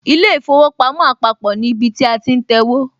ilé īfowòpamó àpapò ní ibi tí a ti ń tẹwó